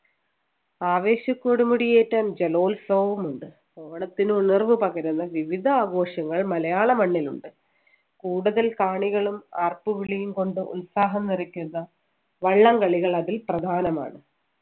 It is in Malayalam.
ആവേശകൊടുമുടി ഏറ്റാൻ ജലോത്സവവുമുണ്ട് ഓണത്തിന് ഉണർവ് പകരുന്ന വിവിധ ആഘോഷങ്ങൾ മലയാള മണ്ണിലുണ്ട് കൂടുതൽ കാണികളും ആർപ്പുവിളിയും കൊണ്ട് ഉത്സാഹം നിറയ്ക്കുന്ന വള്ളംകളികൾ അതിൽ പ്രധാനമാണ്